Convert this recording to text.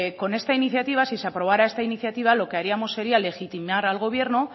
con esta iniciativa si se aprobara esta iniciativa lo que haríamos sería legitimar al gobierno